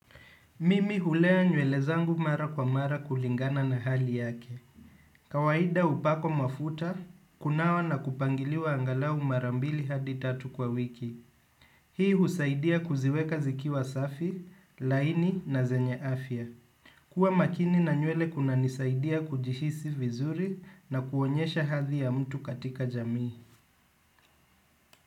Mimi hulea nywele zangu mara kwa mara kulingana na hali yake. Kawaida hupakwa mafuta, kunawa na kupangiliwa angalau mara mbili hadi tatu kwa wiki. Hii husaidia kuziweka zikiwa safi, laini na zenye afya. Kua makini na nywele kuna nisaidia kujihisi vizuri na kuonyesha hadhi ya mtu katika jamii.